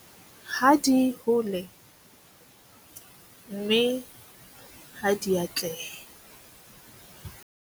Ha di hole, mme ha di atlehe.